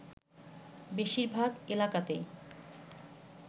বেশিরভাগ এলাকাতেই